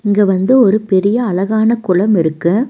இங்க வந்து ஒரு பெரிய அழகான குளம் இருக்கு.